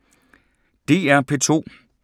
DR P2